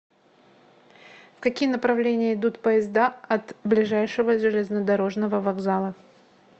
в какие направления идут поезда от ближайшего железнодорожного вокзала